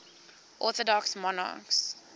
orthodox monarchs